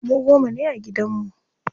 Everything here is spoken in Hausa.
Mu goma ne a gidan mu.